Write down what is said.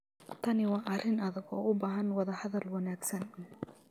Tani waa arrin adag oo u baahan wadahadal wanaagsan.